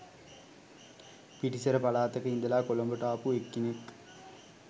පිටිසර පලාතක ඉඳලා කොළඹට ආපු එක්කෙනෙක්